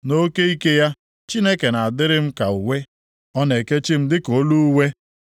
Nʼoke ike ya, Chineke na-adịrị m ka uwe; ọ na-ekechi m dịka olu uwe m.